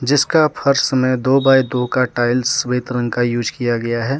जिसका फर्श में दो बाइ दो का टाइल्स सफेद रंग का यूज किया गया है।